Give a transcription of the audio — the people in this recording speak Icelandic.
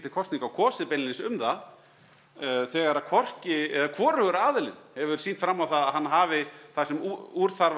kosninga og kosið beinlínis um það þegar hvorki er þegar hvorugur aðilinn hefur sýnt fram á það að hann hafi það sem úr þarf